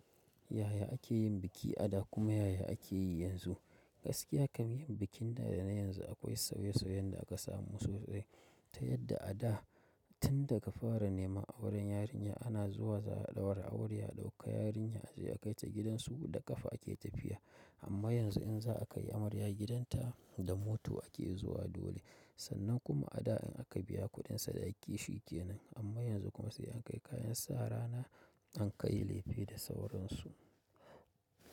Yaya ake yin biki a da kuma yaya ake yi yanzu? Gaskiya kam yin bikin da da na yanzu akwai sauye sauye yadda aka samu sosai. Ta yadda a da tunda ka fara neman auren yarinya ana zuwa za a ɗaura aure a ɗauka yarinya sai a kai ta gidansu da ƙafa ake tafiya amma yanzu in za a kai amarya gidanta da mota ake zuwa dole. Sannan kuma a da in aka biya kuɗin sadaki shi kenan amma yanzu kuma sai an kai kayan sara na an kai lefe da sauransu.